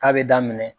K'a bɛ daminɛ